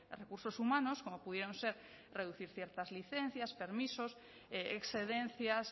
recursos humanos como pudieron ser reducir ciertas licencias permisos excedencias